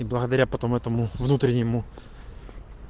благодаря потом этому внутреннему